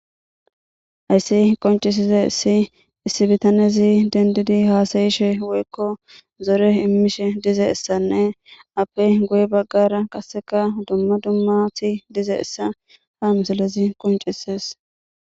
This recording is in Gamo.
Hayssi qoncisize issi issi bitanezi dendidi haasayishe woykko zore immishe dize essanne appe goye baggara qasseka dumma dummati dizeessa ha misalezi qoncisees.